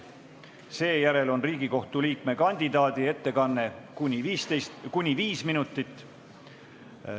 Seejärel on Riigikohtu liikme kandidaadi ettekanne kuni 5 minutit.